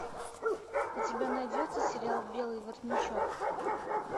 у тебя найдется сериал белый воротничок